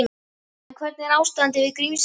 En hvernig er ástandið við Grímsey?